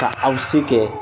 Ka aw se kɛ